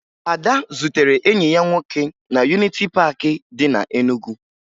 Ada zutere enyi ya nwoke na Yuniti Paakị dị na Enugu